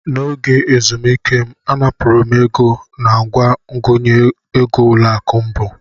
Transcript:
N'oge ezumike m, anapụrụ m ego nangwa ngụnye egoỤlọakụ Mbu.